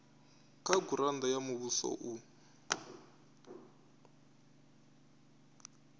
kha gurannda ya muvhuso u